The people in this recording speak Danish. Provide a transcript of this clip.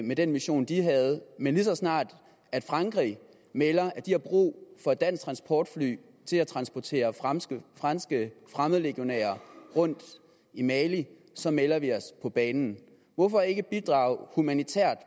med den mission de havde men lige så snart frankrig melder at de har brug for et dansk transportfly til at transportere franske franske fremmedlegionærer rundt i mali så melder vi os på banen hvorfor ikke bidrage humanitært